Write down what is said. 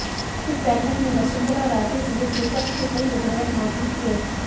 इस बैठक में वसुंधरा राजे सहित विपक्ष के कई विधायक मौजूद थे